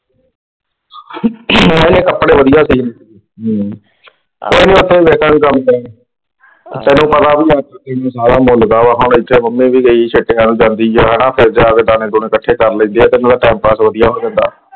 ਇਹੀ ਕਪੜੇ ਵਧਿਆ ਸਿਉਂਦੀ ਆ। ਕੋਈ ਨਾ ਉਥੇ ਤੈਨੂੰ ਪਤਾ ਵੀ ਆ ਮੰਮੀ ਸੀ ਗਈ ਵੱਲ ਨੂੰ ਜਾਂਦੀ ਆ ਨਾ ਆਪਦੇ ਡੰਡੇ ਦੂਣੇ ਇਕੱਠੇ ਕਰ ਲੈਂਦੀ ਆ ਨਾ ਤੇ ਉਹਦਾ ਟਾਈਮਪਾਸ ਵਧੀਆ ਹੋ ਜਾਂਦਾ।